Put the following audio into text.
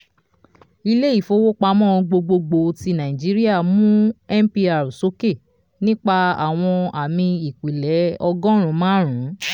ilé ìfowópamọ́ gbogbogbò ti nàìjíríà mú mpr sókè nípa àwọn ámì ìpìlẹ̀ ọgọ́run márùn